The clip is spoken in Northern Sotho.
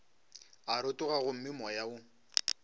a rotoga gomme moya wo